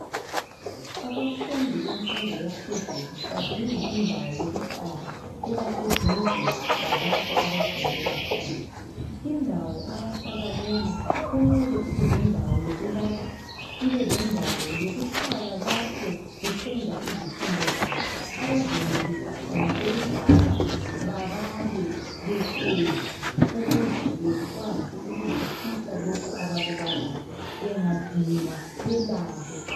Abafundi bemfundo yaphezulu badinga indawo yokuhlala ebaseduze lalapho abafundela khona. Indawo abahlala kuyo kumele ibelendawo yokulala, ibelendawo yokuhlala lapho besenza izifundo zabo abazenelisa khona ukubhala babale behlezi ukuze bekwazi ukuzwisisa lokho abakubalayo bangadinwa balale.